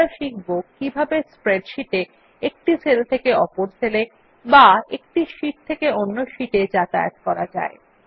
এখন আমরা শিখব কিভাবে স্প্রেডশীট এর একটি সেল থেকে অপর সেল এ এবং একটি শীট থেকে অন্য শীট এ যাতায়াত করা যায়